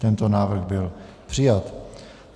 Tento návrh byl přijat.